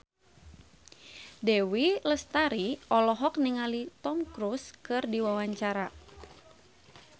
Dewi Lestari olohok ningali Tom Cruise keur diwawancara